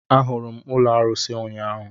Ahụrụ m ụlọ arusi ụnyaahụ